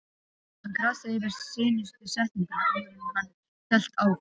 Hann krassaði yfir seinustu setninguna áður en hann hélt áfram.